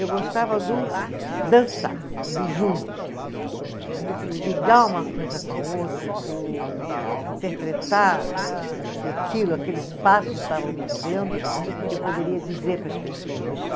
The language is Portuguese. Eu gostava do dançar, do junto, do ligar uma coisa com a outra, do interpretar ah, o que aquilo, aqueles passos estavam me dizendo, que eu poderia dizer para as pessoas.